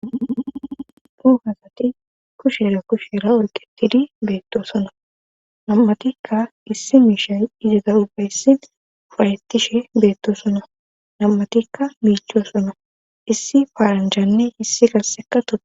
Daro asati kusheera kushera olqetidi beetto sonna nam'atikka issi miishay izata ubba issi uffayetishe beettosona. Nam'atikka miichichosona. Issi paaranjanne qassi issi gassika